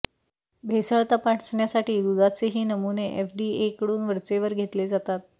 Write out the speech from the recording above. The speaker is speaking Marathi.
भेसळ तपासण्यासाठी दुधाचेही नमुने एफडीएकडून वरेचवर घेतले जातात